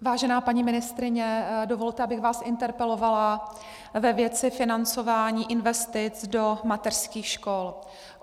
Vážená paní ministryně, dovolte, abych vás interpelovala ve věci financování investic do mateřských škol.